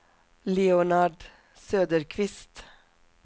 Leonard Söderqvist